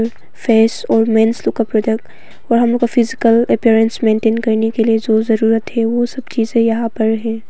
Face और men's लोग का प्रोडक्ट और हम लोग का फिजिकल अपीरियंस मेंटेन करने के लिए जो जरूरत है वो सब चीजें यहां पर हैं।